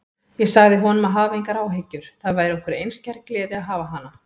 Ég sagði honum að hafa engar áhyggjur, það væri okkur einskær gleði að hafa hana.